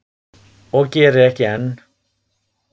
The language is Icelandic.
Og geri ekki enn.